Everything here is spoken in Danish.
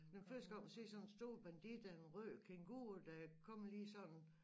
Når man først skal op og se sådan en stor bandit af en rød kænguru der kommer lige sådan